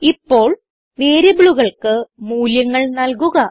ഇപ്പോൾ വേരിയബിളുകൾക്ക് മൂല്യങ്ങൾ നൽകുക